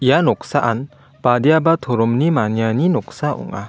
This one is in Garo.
ia noksaan badiaba toromni maniani noksa ong·a.